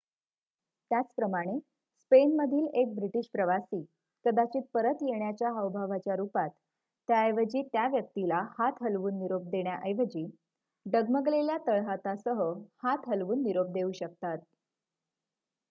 त्याचप्रमाणे स्पेनमधील एक ब्रिटिश प्रवासी कदाचित परत येण्याच्या हावभावाच्या रूपात त्याऐवजी त्या व्यक्तीला हात हलवून निरोप देण्या ऐवजी डगमगलेल्या तळहातासह हात हलवून निरोप देऊ शकतात